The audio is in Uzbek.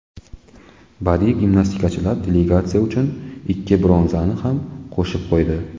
Badiiy gimnastikachilar delegatsiya uchun ikki bronzani ham qo‘shib qo‘ydi.